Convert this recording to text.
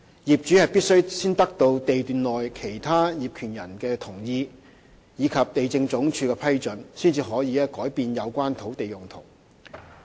業主必須先得到地段內其他業權人的同意，以及地政總署的批准，才可以改變有關土地用途。